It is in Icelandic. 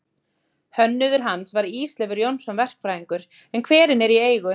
Hönnuður hans var Ísleifur Jónsson verkfræðingur, en hverinn er í eigu